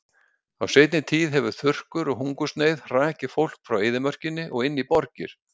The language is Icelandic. Á seinni tíð hefur þurrkur og hungursneyð hrakið fólk frá eyðimörkinni og inn í borgir.